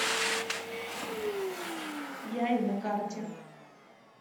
яй на карте